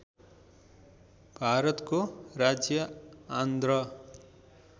भारतको राज्य आन्ध्र